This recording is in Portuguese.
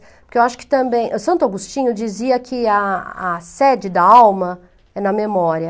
Porque eu acho que também... Santo Agostinho dizia que a a sede da alma é na memória.